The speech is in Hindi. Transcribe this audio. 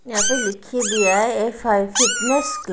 यहां पे लिख ही दिया है एफ_आई फिटनेस --